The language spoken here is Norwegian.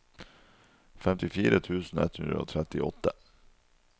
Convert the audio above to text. femtifire tusen ett hundre og trettiåtte